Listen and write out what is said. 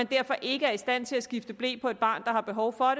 derfor ikke er i stand til at skifte ble på et barn der har behov for